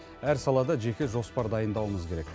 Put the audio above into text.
әр салада жеке жоспар дайындауымыз керек